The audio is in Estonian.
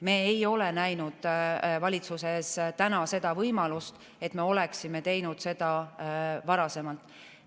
Me ei ole näinud valitsuses täna seda võimalust, et me oleksime teinud seda varasemalt.